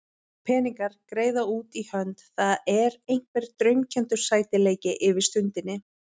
Peningar, greiða út í hönd, það er einhver draumkenndur sætleiki yfir stundinni.